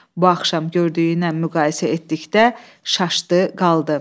Bu axşam gördüyünə müqayisə etdikdə şaşdı, qaldı.